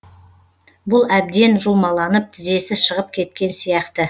бұл әбден жұлмаланып тізесі шығып кеткен сияқты